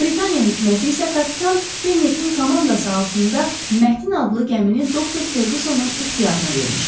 Britaniya hökuməti isə kapitan Pennetin komandası altında Mətin adlı gəmini Doktor Ferqusonun ixtiyarına vermişdi.